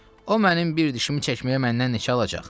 O mənim bir dişimi çəkməyə məndən neçə alacaq?